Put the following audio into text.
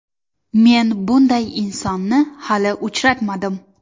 Men bunday insonni hali uchratmadim.